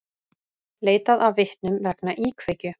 Leitað að vitnum vegna íkveikju